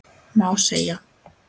Má segja?